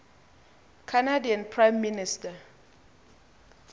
canadian prime minister